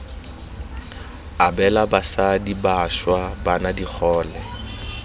abela basadi bašwa bana digole